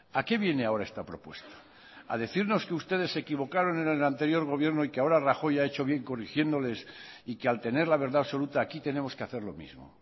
a qué viene ahora esta propuesta a decirnos que ustedes se equivocaron en el anterior gobierno y que ahora rajoy ha hecho bien corrigiéndoles y que al tener la verdad absoluta aquí tenemos que hacer lo mismo